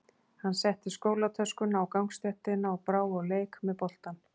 Hann setti skólatöskuna á gangstéttina og brá á leik með boltann.